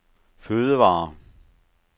fødevarer